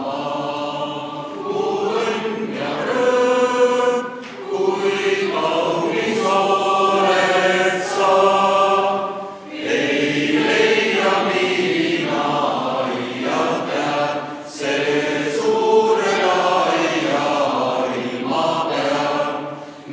Head kolleegid, kui me saame sumina natukene vaiksemaks, siis võime tänase istungiga peale hakata.